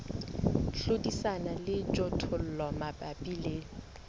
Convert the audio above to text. hlodisana le dijothollo mabapi le